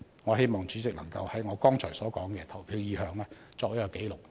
我希望主席能夠把我剛才澄清的投票意向記錄在案。